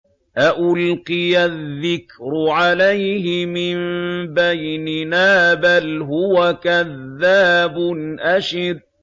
أَأُلْقِيَ الذِّكْرُ عَلَيْهِ مِن بَيْنِنَا بَلْ هُوَ كَذَّابٌ أَشِرٌ